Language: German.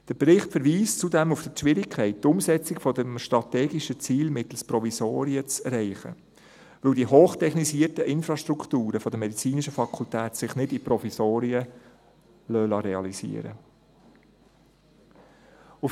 Der Bericht verweist zudem auf die Schwierigkeit, die Umsetzung des strategischen Ziels mittels Provisorien zu erreichen, da sich die hochtechnisierten Infrastrukturen der medizinischen Fakultät nicht in Provisorien realisieren lassen.